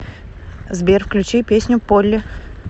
сбер включи песню полли